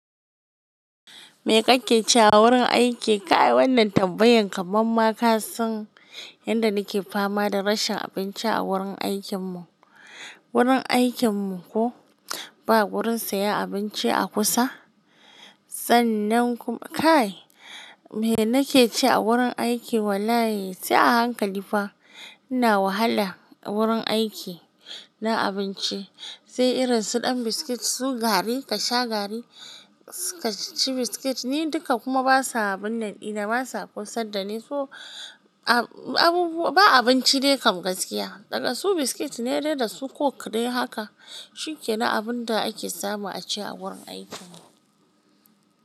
Me kake ci a wurin aiki? Kai wannan tambayan kamar ma ka san yadda nake fama da rashin abinci a wurin aikin mu. Wurin aikin mu ko ba wurin siya abinci a kusa. Sannan kuma kai, me nake ci a wurin aiki wallahi sai a hankali fa. Ina wahala wurin aiki na abinci. Sai irin su ɗan biskit su gari ka sha gari ka ci biskit ni duka kuma basa abun naɗi na basa kusa da ne so a-abubuwa ba abinci ne kam gaskiya. Dagasu biskit ne dai da su coke dai haka. Shi ke na abun da ake samu a ci a wurin aikin mu?